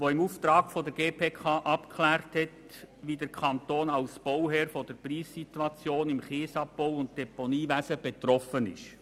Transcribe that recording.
Diese hat im Auftrag der GPK abgeklärt, wie der Kanton als Bauherr von der Preissituation im Kiesabbau- und Deponiewesen betroffen ist.